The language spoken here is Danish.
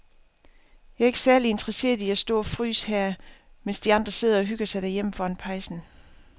Jeg er ikke særlig interesseret i at stå og fryse her, mens de andre sidder og hygger sig derhjemme foran pejsen.